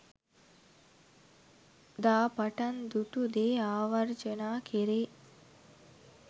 දා පටන් දුටු දේ ආවර්ජනා කෙරේ.